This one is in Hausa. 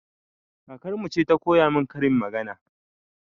Kakarmu ce ta koya min karin magana